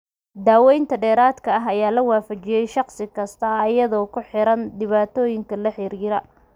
Daawaynta dheeraadka ah ayaa la waafajiyay shaqsi kasta iyadoo ku xiran dhibaatooyinka la xiriira.